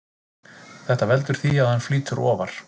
Þetta veldur því að hann flýtur ofar.